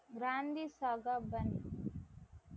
Kranti Saha பன்,